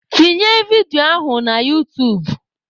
Tinye vidio ahụ na utuub!